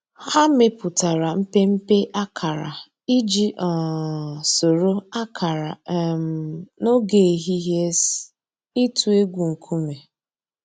Hà mẹpùtárà mpémpé àkárà íjì um sòrò àkárà um n'ògè èhìhìè’s ị̀tụ̀ ègwù ńkùmé̀.